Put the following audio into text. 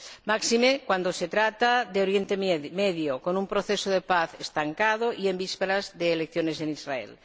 máxime cuando se trata de Oriente Medio, con un proceso de paz estancado, y en vísperas de elecciones en Israel.